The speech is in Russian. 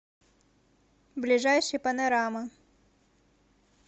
ближайший панорама